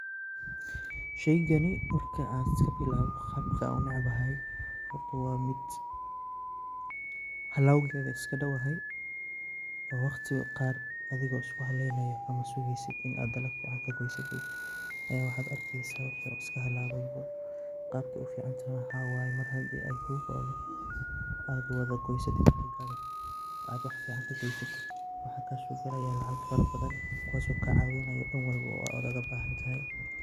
Sheygani marka an sibilawo qabka an unecbahay horta wa mid halowgeda iskadowyahay oo adigo iskuhaleynaya ama sugeysid in ad dalaga wax kagosatid aya waxad arkeysa wixi oo iskahalawe. Qabkey uficantahay waxa waye mar hadey kugoado oo ad wadagoysatid oo wax fican heshid waxa kasogalaya lacag fara badan kuwaso kacawinayo dan walbo oo wax ogabahantahay.